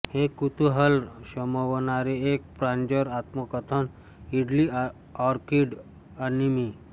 हे कुतूहल शमवणारे एक प्रांजळ आत्मकथन इडली ऑर्किड आणि मी